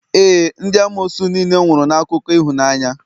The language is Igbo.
ee, ndị amoosu niile nwụrụ na akụkọ ịhụnanya